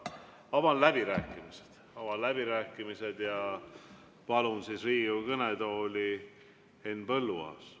Avan läbirääkimised ja palun Riigikogu kõnetooli Henn Põlluaasa.